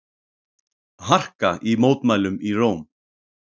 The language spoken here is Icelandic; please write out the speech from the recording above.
Harka í mótmælum í Róm